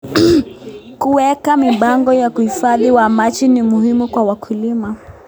Kuweka mipango ya uhifadhi wa maji ni muhimu kwa wakulima.